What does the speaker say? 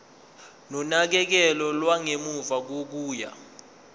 nonakekelo lwangemuva kokuya